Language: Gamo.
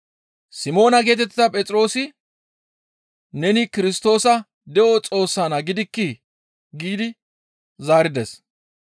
Simoona geetettiza Phexroosi, «Neni Kirstoosa de7o Xoossa Naa gidikkii?» giidi zaarides.